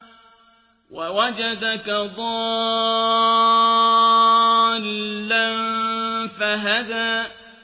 وَوَجَدَكَ ضَالًّا فَهَدَىٰ